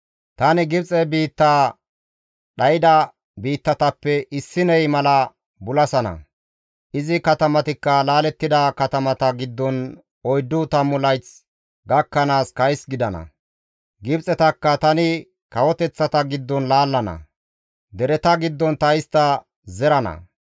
Tani Gibxe biittaa dhayda biittatappe issiney mala bulasana; izi katamatikka laalettida katamata giddon oyddu tammu layth gakkanaas kays gidana; Gibxetakka tani kawoteththata giddon laallana; dereta giddon ta istta zerana.